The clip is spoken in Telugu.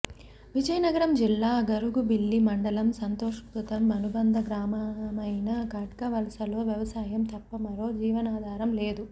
విజయనగరం జిల్లా గరుగుబిల్లి మండలం సంతోష్పురం అనుబంధ గ్రామమైన ఖడ్గవలసలో వ్యవసాయం తప్ప మరో జీవనాధారం లేదు